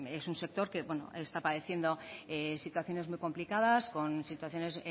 es un sector que está padeciendo situaciones muy complicadas con situaciones